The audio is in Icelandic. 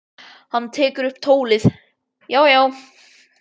Hann tekur upp tólið: Já, já.